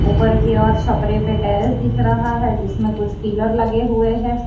ऊपर की ओर छापरे पर टेरिस दिख रहा है जिसमें कुछ पिलर लगे हुए हैं।